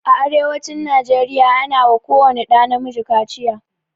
A arewacin nigeria ana wa ko wani ɗa na miji kaciya